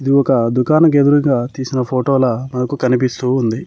ఇది ఒక దుకాణం కి ఎదురుంగా తీసిన ఫోటో లా మనకు కనిపిస్తూ ఉంది.